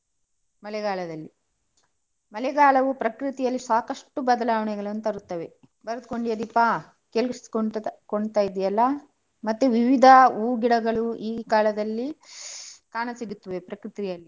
ಮಳೆಗಾಲದಲ್ಲಿ ಮಳೆಗಾಲ ಪ್ರಕೃತಿಯಲ್ಲಿ ಸಾಕಷ್ಟು ಬದಲಾವಣೆಗಳನ್ನು ತರುತ್ತವೆ. ಬರೆದುಕೊಂಡೆಯಾ ದೀಪಾ ಕೇಳಿಸಿಕೊಂತ ಕೊಂತ~ ಇದೆಯಲ್ಲ? ಮತ್ತೆ ವಿವಿಧ ಹೂ ಗಿಡಗಳು ಈ ಕಾಲದಲ್ಲಿ ಕಾಣ ಸಿಗುತ್ತದೆ ಪ್ರಕೃತಿಯಲ್ಲಿ.